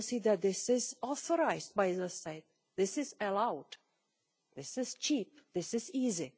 They will see that this is authorised by the State, this is allowed, this is cheap, this is easy.